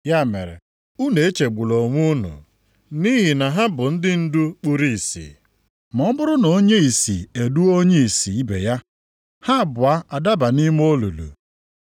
Ya mere, unu echegbula onwe unu, nʼihi na ha bụ ndị ndu kpuru ìsì. Ma ọ bụrụ na onye ìsì eduo onye ìsì ibe ya ha abụọ adaba nʼime olulu.”